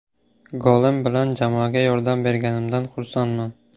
Golim bilan jamoaga yordam berganimdan xursandman.